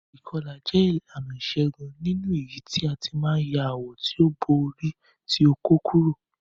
Ìkọlà jẹ ìlànà ìṣégún nínú èyítí a ti ma n ya awọ ti o bo ori ti okó kurò.